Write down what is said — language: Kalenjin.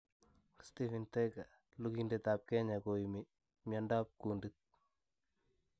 Stephen Thega: lugindet ap Kenya koime miandop kuuntit